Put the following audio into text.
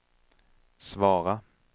svara